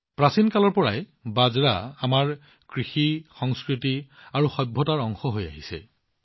প্ৰাচীন কালৰ পৰাই বাজৰা মোটা শস্য আমাৰ কৃষি সংস্কৃতি আৰু সভ্যতাৰ অংশ হৈ আহিছে